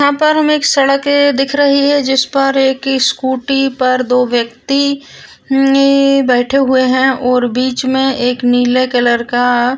यहाँ पर हमें एक सड़के दिख रही है जिस पर एक स्कूटी पर दो व्यक्ति नई बैठे हुए है और बीच में एक नील कलर का --